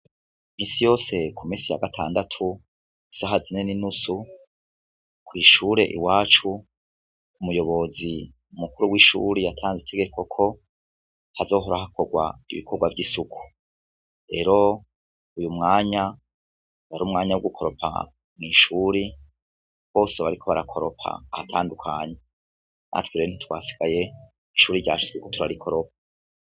Misi yose ku misi ya gatandatu saha zinene inusu kwishure i wacu umuyobozi umukuru w'ishuri yatanze itegekoko hazohorahakorwa ibikorwa vy'isuku rero uyu mwanya wari umwanya w' gukoropa mw'ishuri bose bariko barakoropa ahatandukanye natwiree ntitwasigaye icuri ryachizwekuturari koropa.